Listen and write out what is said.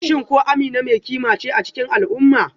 Shin ko Amina mai kima ce a cikin al'umma?